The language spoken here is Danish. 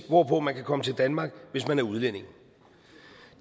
hvorpå man kan komme til danmark hvis man er udlænding